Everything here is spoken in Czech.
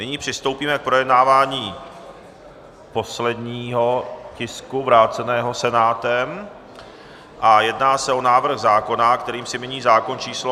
Nyní přistoupíme k projednávání posledního tisku vráceného Senátem a jedná se o návrh zákona, kterým se mění zákon číslo...